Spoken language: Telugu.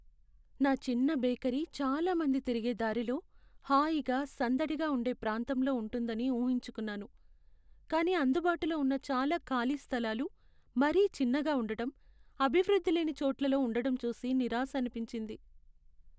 నా చిన్న బేకరీ చాలామంది తిరిగే దారిలో, హాయిగా, సందడిగా ఉండే ప్రాంతంలో ఉంటుందని ఊహించుకున్నాను, కానీ అందుబాటులో ఉన్న చాలా ఖాళీ స్థాలాలు మరీ చిన్నగా ఉండటం, అభివృద్ధి లేని చోట్లలో ఉండటం చూసి నిరాశనిపించింది.